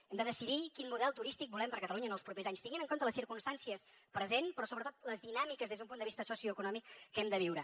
hem de decidir quin model turístic volem per catalunya en els propers anys tenint en compte les circumstàncies presents però sobretot les dinàmiques des d’un punt de vista socioeconòmic que hem de viure